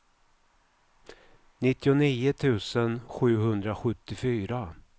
nittionio tusen sjuhundrasjuttiofyra